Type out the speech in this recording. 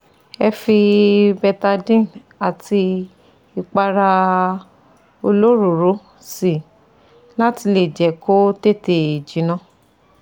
Ẹ fi betadine àti ìpara olóròóró sí i láti lẹ̀ jẹ́ kó tètè jiná